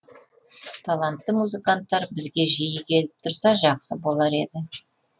талантты музыканттар бізге жиі келіп тұрса жақсы болар еді